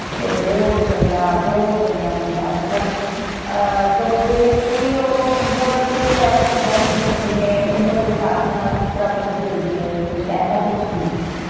ਤੇ ਬਹੁਤ ਚੰਗਾ ਬਹੁਤ ਚੰਗਾ ਮੁੰਡਾ ਮਤਲਬ ਅਹ ਅਬਲ ਤੇ ਕੋਈ ਉਹ ਮੁੰਡਿਆਂ ਵਾਲੀ ਕੋਈ ਐਵੇਂ ਦੀ ਗੱਲ ਨਹੀਂ ਸੀ ਜਿਵੇਂ ਉਮਰ ਦੇ ਸਾਬ ਨਾਲ ਫੁਕਰਪੰਤੀ ਹੁੰਦੀ ਹੈ ਕੁਛ ਐਸਾ ਕੁਛ ਨਹੀਂ ਸੀ।